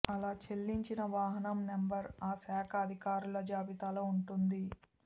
అలా చెల్లించిన వాహనం నంబర్ ఆ శాఖ అధికారుల జాబితాలో ఉంటుంది